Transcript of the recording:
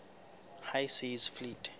high seas fleet